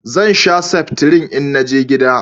Zan sha seftrin in naje gida